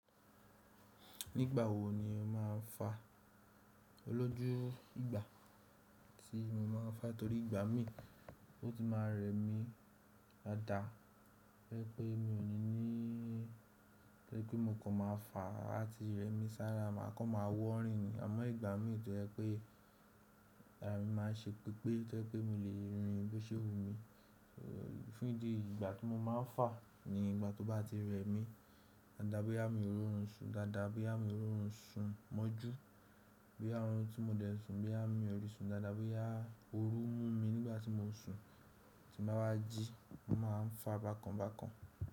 Nígbà wo ni o máa ń fa? Olójú ìgbà tí mo máa ń fa torí ìgbà mí o ti máa rẹ mí dáadáa, to je pé mi ò ní ní, to je wipé mo kàn máa fà àti rẹ mí sára, màá kàn máa wọ́ rìn ni. Àmọ́ ìgbà mí tọ jepé ara mi máa ṣe pepé to jepé mo lè rin bó ṣe wù mí. Fún ìdí eyi ìgbà tí mo máa ń fà ni ìgbà tó bá ti rẹ mí dáadáa boya mi ò rorun sùn dáadáa, boya mi ò rorun sùn mọ́jú, boya orun tí mo dẹ̀ sùn, boya mi ò rí sùn dáadáa, boya ooru mú mi nígbà tí mo sùn tí n báa wá jí, mo máa ń fà bákan bákan.